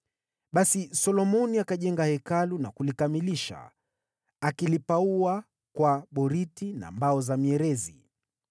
Basi Solomoni akajenga Hekalu na kulikamilisha, akiliweka paa za boriti na mbao za mierezi.